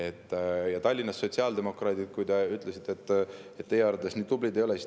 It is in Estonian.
Te ütlesite, et teie arvates Tallinnas sotsiaaldemokraadid nii tublid ei ole.